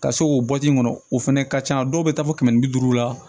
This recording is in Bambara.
Ka se k'o bɔti in kɔnɔ o fana ka ca dɔw bɛ taa fɔ kɛmɛ ni bi duuru la